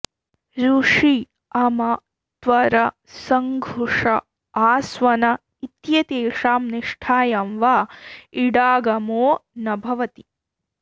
रुषि अम त्वर सङ्घुष आस्वन इत्येतेषां निष्ठायां वा इडागमो न भवति